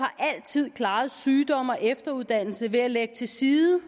altid klaret sygdom og efteruddannelse ved at lægge til side